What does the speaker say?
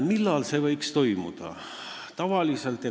Millal see võiks toimuda?